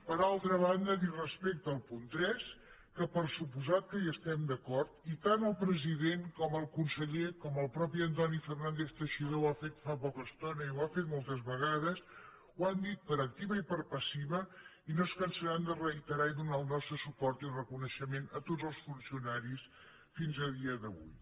per altra banda dir respecte al punt tres que per descomptat que hi estem d’acord i tant el president com el conseller com el mateix antoni fernández teixidó ho ha fet fa poca estona i ho ha fet moltes vegades ho han dit per activa i per passiva i no es cansaran de reiterar i donar el nostre suport i reconeixement a tots els funcionaris fins a dia d’avui